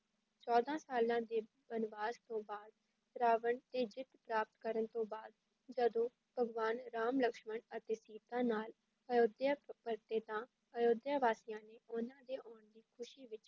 ਚੌਦਾਂ ਸਾਲਾਂ ਦੇ ਬਨਵਾਸ ਤੋਂ ਬਾਅਦ ਰਾਵਣ 'ਤੇ ਜਿੱਤ ਪ੍ਰਾਪਤ ਕਰਨ ਤੋਂ ਬਾਅਦ ਜਦੋਂ ਭਗਵਾਨ ਰਾਮ ਲਕਸ਼ਮਣ ਅਤੇ ਸੀਤਾ ਨਾਲ ਅਯੋਧਿਆ ਪਰਤੇ ਤਾਂ ਅਯੋਧਿਆ ਵਾਸੀਆਂ ਨੇ ਉਨ੍ਹਾਂ ਦੇ ਆਉਣ ਦੀ ਖ਼ੁਸ਼ੀ ਵਿੱਚ